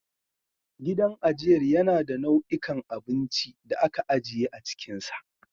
Gidan ajiyar yana da nau'ikan abinci da aka ajiye a cikinsa.